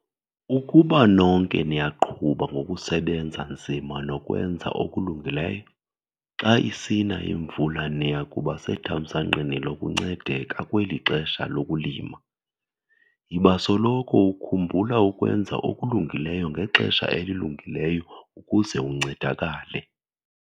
Ukuba nonke niyaqhuba ngokusebenza nzima nokwenza okulungileyo, xa isina imvula niya kuba sethamsanqeni lokuncedeka kweli xesha lokulima. Yiba soloko ukhumbula ukwenza okulungileyo ngexesha elilungileyo ukuze uncedakale.